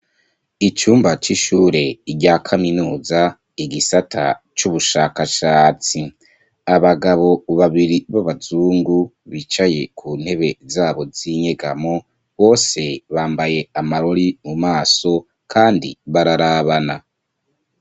Icumba c'ishure rya kaminuza, igisata c'ubushakashatsi. Abagabo babiri b'abazungu bicaye ku ntebe z'abo z'inyegamo. Bose bambaye amarori mu maso kandi bararabana.